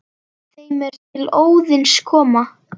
þeim er til Óðins koma